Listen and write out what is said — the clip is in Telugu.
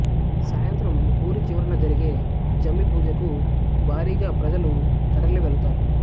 సాయంత్రం ఊరి చివరినా జరిగే జమ్మి పూజకు భారీగా ప్రజలు తరలివెళ్తారు